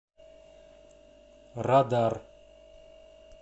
радар